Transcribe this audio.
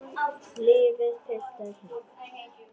Lífið, piltar, lífið.